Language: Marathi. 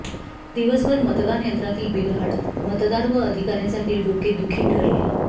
दिवसभर मतदान यंत्रातील बिघाड मतदार व अधिकाऱ्यांसाठी डोकेदुखी ठरली